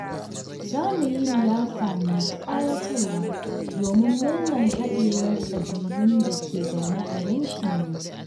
Za mu yi liyafa mai ƙayatarwa domin murnar haɗewar ƙabilun da ke zaune a yankinmu.